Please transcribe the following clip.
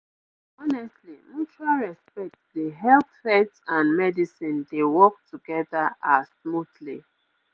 honestly mutual respect dey help faith and medicine dey work together ah smoothly